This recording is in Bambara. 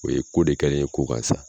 O ye ko de kɛlen ye ko kan sa.